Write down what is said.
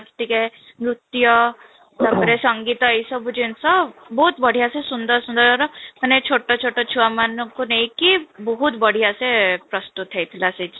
ଟିକେ ନୃତ୍ୟ ତାପରେ ସଙ୍ଗୀତ ଏହି ସବୁ ବହୁତ ବଢିଆ ସେ ସୁନ୍ଦର ସୁନ୍ଦରର ମାନେ ଛୋଟ ଛୋଟ ଛୁଆମାନଙ୍କୁ ନେଇକି ବହୁତ ବଢିଆ ସେ ପ୍ରସ୍ତୁତ ହେଇଥିଲା ସେଠି